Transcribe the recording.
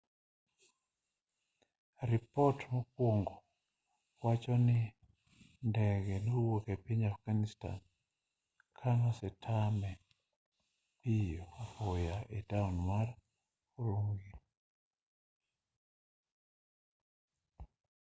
repot mokwongo wacho ni ndege nodwok epiny afghanistan kanosetame piyo apoya etown mar ürümqi